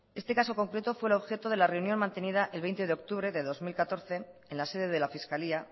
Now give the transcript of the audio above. este caso concreto fue el objeto de la reunión mantenida el veinte de octubre de dos mil catorce en la sede de la fiscalía